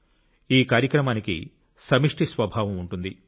ఈ కార్యక్రమానికి సమిష్టి స్వభావం ఉంటుంది